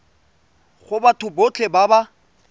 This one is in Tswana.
go batho botlhe ba ba